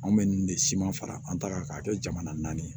Anw bɛ ninnu de siman fara an ta kan k'a kɛ jamana naani ye